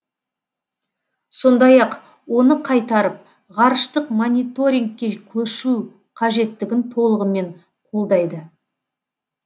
сондай ақ оны қайтарып ғарыштық мониторингке көшу қажеттігін толығымен қолдайды